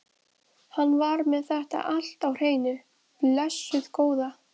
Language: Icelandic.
Hann var með þetta allt á hreinu, blessuð góða.